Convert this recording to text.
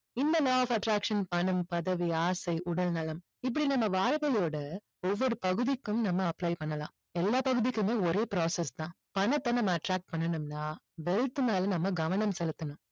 இந்த law of attraction பணம் பதவி ஆசை உடல்நலம் இப்படி நம்ம வாழ்வியலோட ஒவ்வொரு பகுதிக்கும் நம்ம apply பண்ணலாம் எல்லா பகுதிக்குமே ஒரே process தான் பணத்தை நம்ம attract பண்ணனும்னா wealth மேல நம்ம கவனம் செலுத்தணும்